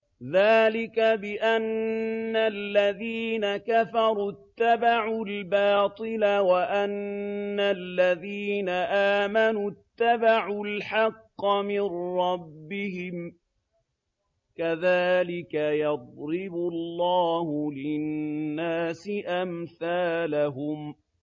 ذَٰلِكَ بِأَنَّ الَّذِينَ كَفَرُوا اتَّبَعُوا الْبَاطِلَ وَأَنَّ الَّذِينَ آمَنُوا اتَّبَعُوا الْحَقَّ مِن رَّبِّهِمْ ۚ كَذَٰلِكَ يَضْرِبُ اللَّهُ لِلنَّاسِ أَمْثَالَهُمْ